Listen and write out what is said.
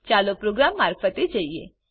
ચાલો પ્રોગ્રામ મારફતે જઈએ